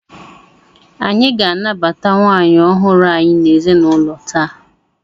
Anyị ga-anabata nwaanyị ọhụrụ anyị n'ezinụlọ taa!